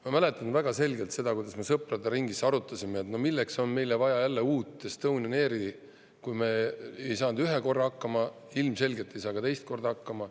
Ma mäletan väga selgelt seda, kuidas me sõprade ringis arutasime, et no milleks on meile vaja jälle uut Estonian Airi – kui me ei saanud ühe korra hakkama, ilmselgelt ei saa ka teist korda hakkama.